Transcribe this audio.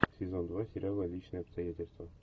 сезон два сериала личные обстоятельства